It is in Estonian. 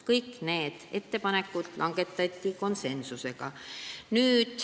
Kõik need ettepanekud tehti konsensusega.